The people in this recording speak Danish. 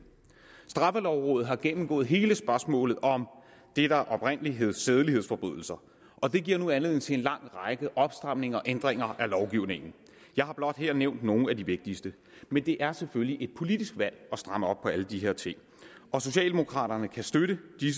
straffelovrådet har gennemgået hele spørgsmålet om det der oprindelig hed sædelighedsforbrydelser og det giver nu anledning til en lang række opstramninger og ændringer af lovgivningen jeg har blot her nævnt nogle af de vigtigste men det er selvfølgelig et politisk valg at stramme op på alle de her ting socialdemokraterne kan støtte de